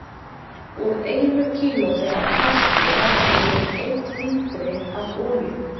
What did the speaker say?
Úr einu kílói af plasti verður til um einn lítri af olíu.